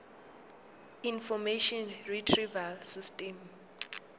information retrieval system